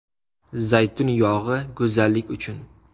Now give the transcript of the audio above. Zaytun yog‘i go‘zallik uchun.